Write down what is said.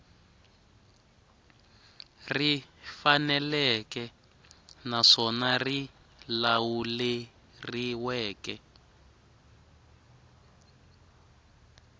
ri faneleke naswona ri lawuleriweke